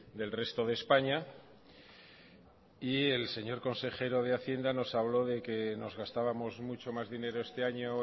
del resto de españa el señor consejero de haciendo nos habló de que nos gastábamos mucho más dinero este año